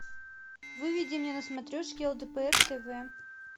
выведи мне на смотрешке лдпр тв